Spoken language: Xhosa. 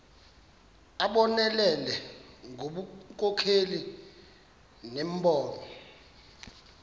abonelele ngobunkokheli nembono